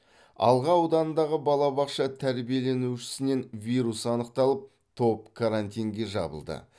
алға ауданындағы балабақша тәрбиеленушісінен вирус анықталып топ карантинге жабылды